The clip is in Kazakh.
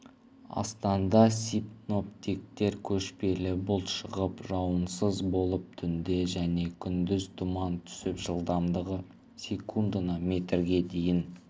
астанда синоптиктер көшпелі бұлт шығып жауын-шашынсыз болып түнде және күндіз тұман түсіп жылдамдығы секундына метрге дейін